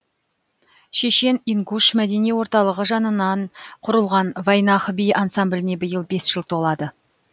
шешен ингуш мәдени орталығы жанынан құрылған вайнах би ансамбліне биыл бес жыл толады